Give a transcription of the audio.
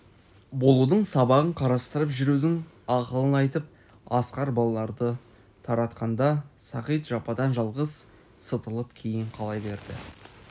болудың сабағын қарастырып жүрудің ақылын айтып асқар балаларды таратқанда сағит жападан-жалғыз сытылып кейін қала берді